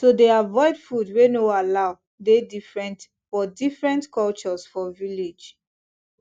to dey avoid food wey no allow dey different for different cultures for village